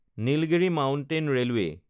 Nilgiri mountain railway